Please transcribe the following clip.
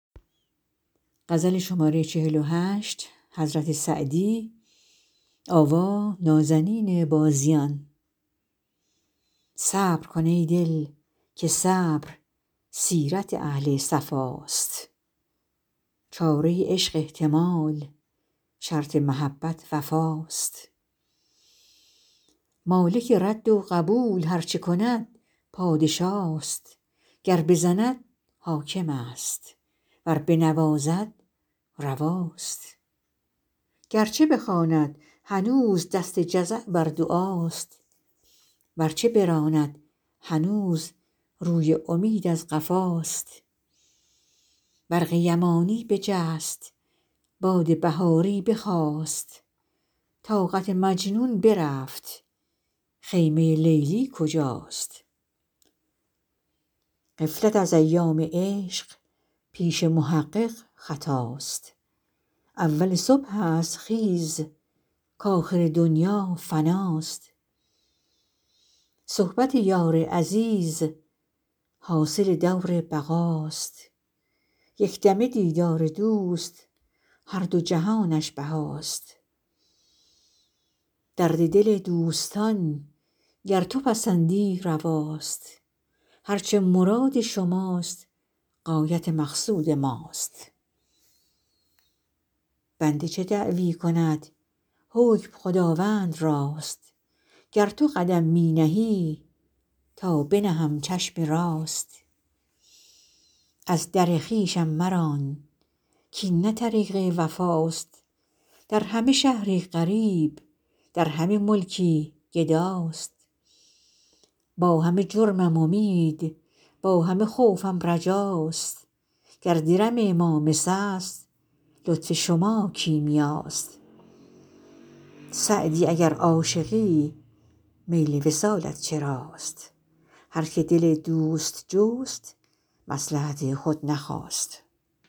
صبر کن ای دل که صبر سیرت اهل صفاست چاره عشق احتمال شرط محبت وفاست مالک رد و قبول هر چه کند پادشاست گر بزند حاکم است ور بنوازد رواست گر چه بخواند هنوز دست جزع بر دعاست ور چه براند هنوز روی امید از قفاست برق یمانی بجست باد بهاری بخاست طاقت مجنون برفت خیمه لیلی کجاست غفلت از ایام عشق پیش محقق خطاست اول صبح است خیز کآخر دنیا فناست صحبت یار عزیز حاصل دور بقاست یک دمه دیدار دوست هر دو جهانش بهاست درد دل دوستان گر تو پسندی رواست هر چه مراد شماست غایت مقصود ماست بنده چه دعوی کند حکم خداوند راست گر تو قدم می نهی تا بنهم چشم راست از در خویشم مران کاین نه طریق وفاست در همه شهری غریب در همه ملکی گداست با همه جرمم امید با همه خوفم رجاست گر درم ما مس است لطف شما کیمیاست سعدی اگر عاشقی میل وصالت چراست هر که دل دوست جست مصلحت خود نخواست